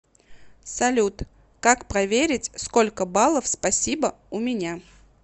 салют как проверить сколько баллов спасибо у меня